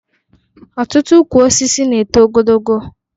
Ọtụtụ ukwu osisi na-eto ogologo